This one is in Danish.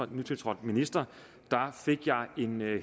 nytiltrådt minister fik jeg en